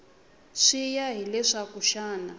swi ya hi leswaku xana